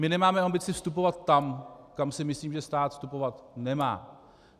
My nemáme ambici vstupovat tam, kam si myslím, že stát vstupovat nemá.